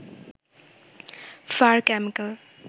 fur chemical